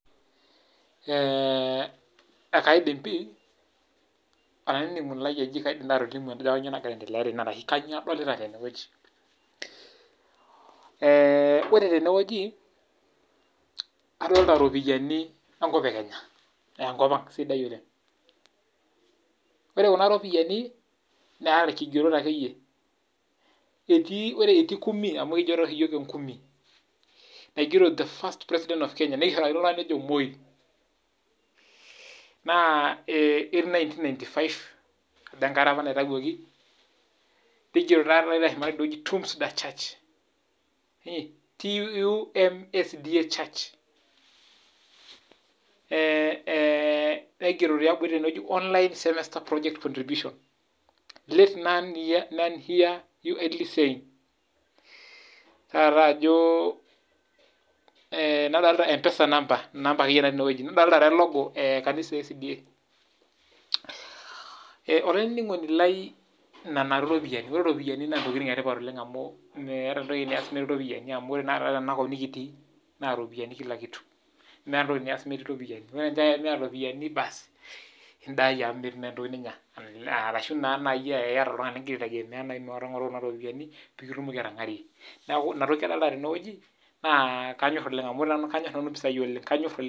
Eh ekaidim pi, olaininingoni lai eji kaidim taa atolimu ajo kainyioo nagira aietelea tene ashu, kainyioo adolita tene wueji. Eh ore tene wueji adolita iropiyani enkop e Kenya naa enkop ang sidai oleng. Ore kuna ropiyani neeta irkigerot akeyi. Etii ore etii kumi amu ekijo toi oshi iyiok ekumi naigero the first president of Kenya nishorakino oltungani ojo Moi. Naa etii 1995 ajo enkata apa naitayioki, nigero taadi teshumata tidie wueji Tumsda church. Ehnigero tiabori tene weuji online semester project contribution let none hear you idly saying there is nothing I can do nadolita namba natii ine weuji empesa namba . Nadolita taata elogo ekanisa eSDA. Olaininingoni lai nena taadi iropiyani ore iropiyani naa intokitin etipat oleng meeta etoki nias metii iropiyani amu ore taata tena kop nikitii naa iropiyani kila kitu. Meeta entoki nias metii iropiyani, nchoo ake pee eaku miata iropiyani basi idayie amu, metii naa etoki ninya arashu naa tenaa ketii oltungani ligira aitengemea mingoru kuna ropiyani pi kitumoki atangarie. Neaku ina toki adolita tene wueji naa kanyor oleng amu kanyor nanu impisai oleng.